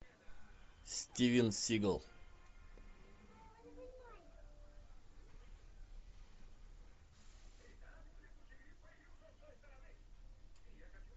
стивен сигал